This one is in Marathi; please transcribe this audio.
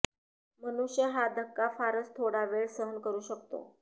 मनुष्य हा धक्का फारच थोडा वेळ सहन करू शकतो